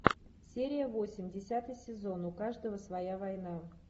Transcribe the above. серия восемь десятый сезон у каждого своя война